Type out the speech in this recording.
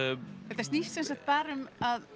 þetta snýst sem sagt bara um